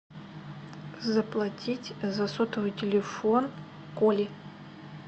заплатить за сотовый телефон коли